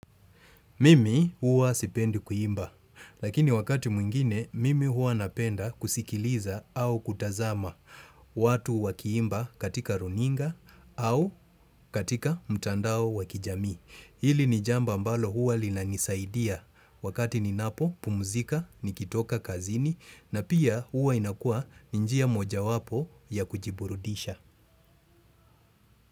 Mimi huwa sipendi kuimba, lakini wakati mwingine mimi huwa napenda kusikiliza au kutazama watu wakiimba katika runinga au katika mtandao wa kijamii. Hili ni jambo ambalo huwa linanisaidia wakati ninapopumuzika, nikitoka kazini na pia huwa inakua ni njia moja wapo ya kujiburudisha.